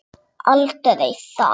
Aldrei það.